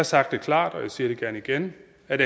sagt det klart og jeg siger det gerne igen at